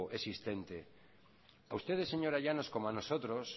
existente a usted señora llanos como a nosotros